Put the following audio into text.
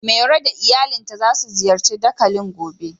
Mero da iyalinta za su ziyarci dakalin gobe.